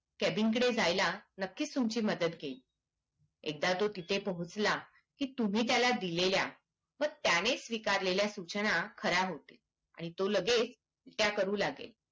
cabin कडे जायला नक्कीच तुमची मदत घेईल एकदा तो तिथे पोहोचला की तुम्ही त्याला दिलेल्या वा त्याने स्वीकारलेल्या सूचना खर्‍या होते आणि तो लगेच त्या करू लागेल